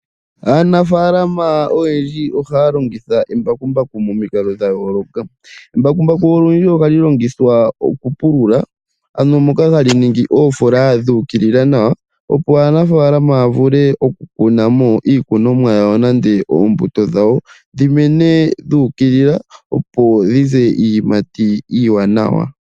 Aanafaalama oyendji ohaya longitha embakumbaku momikalo dhayoolokatha . Embakumbaku olundji ohali longitha okupulula , ano moka hali ningi oofoola dhuukilila nawa opo aanafaalama yavule okununamo iikunomwa yawo nande oombuto nande dhimene dhuukilila opo dhize iiyamati iiwanawa .